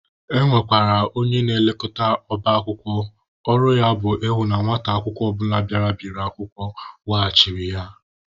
E nwekwara onye na-elekọta ọba akwụkwọ, ọrụ ya bụ ịhụ na nwata akwụkwọ ọbụla bịara biri akwụkwọ weghachiri ya.